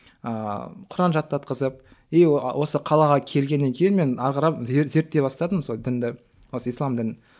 ыыы құран жаттатқызып и осы қалаға келген кейін мен әрі қарап зерттей бастадым сол дінді осы ислам дінін